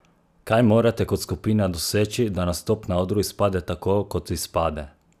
Kaj morate kot skupina doseči, da nastop na odru izpade tako, kot izpade?